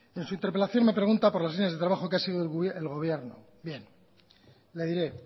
en su interpelación me pregunta por las líneas de trabajo que ha sido el gobierno bien le diré